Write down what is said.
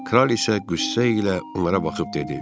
Kral isə qüssə ilə onlara baxıb dedi: